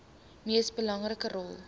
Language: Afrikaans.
mees belangrike rol